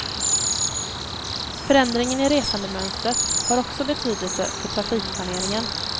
Förändringen i resandemönstret har också betydelse för trafikplaneringen.